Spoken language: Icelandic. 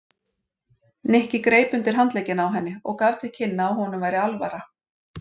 Nikki greip undir handlegginn á henni og gaf til kynna að honum væri alvara.